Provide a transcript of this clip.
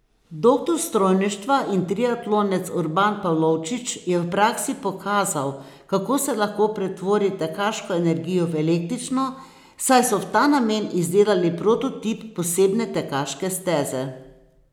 Doktor strojništva in triatlonec Urban Pavlovčič je v praksi pokazal, kako se lahko pretvori tekaško energijo v električno, saj so v ta namen izdelali prototip posebne tekaške steze.